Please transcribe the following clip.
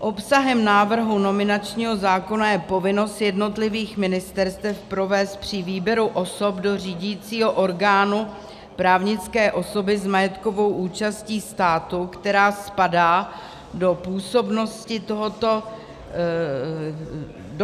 Obsahem návrhu nominačního zákona je povinnost jednotlivých ministerstev provést při výběru osob do řídícího orgánu právnické osoby s majetkovou účastí státu, která spadá do